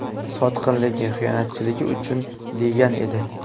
Sotqinligi, xiyonatchiligi uchun”, degan edi.